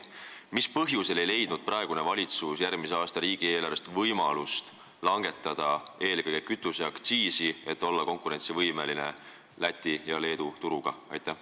Mis põhjusel jättis valitsus järgmise aasta riigieelarvet koostades kasutamata võimaluse langetada eelkõige kütuseaktsiisi, et olla võimeline konkureerima Läti ja Leedu turuga?